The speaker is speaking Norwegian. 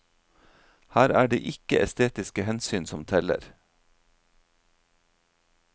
Her er det ikke estetiske hensyn som teller.